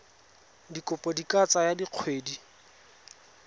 dikopo di ka tsaya dikgwedi